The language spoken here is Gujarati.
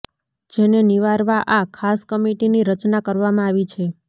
જેને નિવારવા આ ખાસ કમીટીની રચના કરવામાં આવી છે